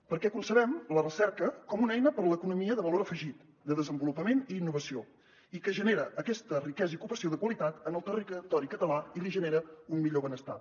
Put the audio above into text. perquè concebem la recerca com una eina per a l’economia de valor afegit de desenvolupament i innovació i que genera aquesta riquesa i ocupació de qualitat en el territori català i li genera un millor benestar